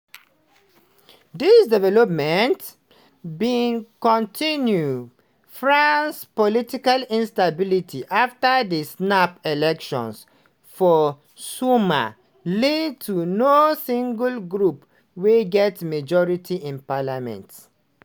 di development bin continue france political instability afta di snap elections for summer lead to no single group wey get majority in parliament.